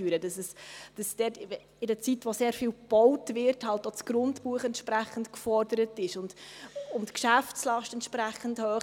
Dort ist das Grundbuch in einer Zeit, wo sehr viel gebaut wird, halt auch entsprechend gefordert, und die Geschäftslast ist entsprechend hoch.